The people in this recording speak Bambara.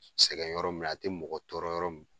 Sɛgɛn yɔrɔ min a tɛ mɔgɔ tɔɔrɔ yɔrɔ min